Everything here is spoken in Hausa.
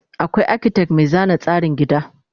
akwai architect Mai zana tsarin gida